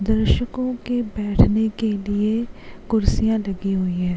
दर्शकों के बैठने के लिए कुर्सियां लगीं हुई है।